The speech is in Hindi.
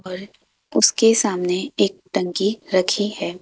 और उसके सामने एक टंकी रखी है।